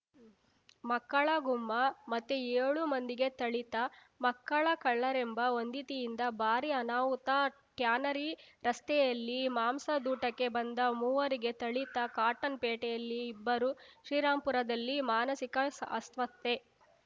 ಮಕ್ಕಳ ಗುಮ್ಮ ಮತ್ತೆ ಯೋಳು ಮಂದಿಗೆ ಥಳಿತ ಮಕ್ಕಳ ಕಳ್ಳರೆಂಬ ವಂದಿತಿಯಿಂದ ಭಾರೀ ಅನಾಹುತ ಟ್ಯಾನರಿ ರಸ್ತೆಯಲ್ಲಿ ಮಾಂಸದೂಟಕ್ಕೆ ಬಂದ ಮೂವರಿಗೆ ಥಳಿತ ಕಾಟನ್‌ಪೇಟೆಯಲ್ಲಿ ಇಬ್ಬರು ಶ್ರೀರಾಮ್ ಪುರದಲ್ಲಿ ಮಾನಸಿಕ ಅಸ್ವಸ್ಥೆ